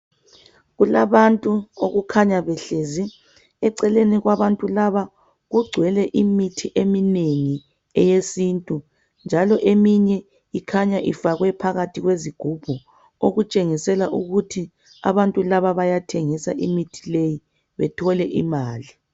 Kulabantu okukhanya behlezi. Eceleni kwabantu laba kugcwele imithi eminengi eyesintu njalo eminye ikhanya ifakwe phakathi kwezigubhu okutshengisela ukuthi abantu laba bayathengisa imithi leyi bethole imali.